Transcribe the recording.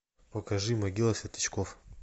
покажи могила светлячков